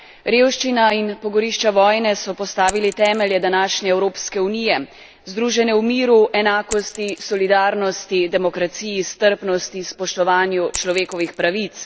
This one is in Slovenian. Revščina in pogorišča vojne so postavili temelje današnje Evropske unije, združene v miru, enakosti, solidarnosti, demokraciji, strpnosti, spoštovanju človekovih pravic.